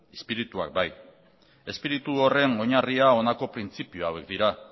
izpirituak bai izpiritu horren oinarria honako printzipio hauek dira